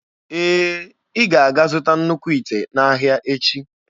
Ee, ị ga-aga zụta nnukwu ite n'ahịa echi.